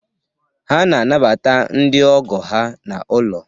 Ha na-anabata ndị Ogo ha n'ụlọ